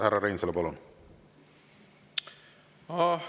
Härra Reinsalu, palun!